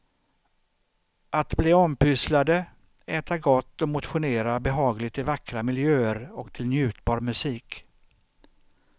Att bli ompysslade, äta gott och motionera behagligt i vackra miljöer och till njutbar musik.